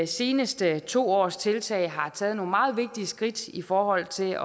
seneste to års tiltag har taget nogle meget vigtige skridt i forhold til